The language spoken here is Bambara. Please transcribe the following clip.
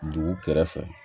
Dugu kɛrɛfɛ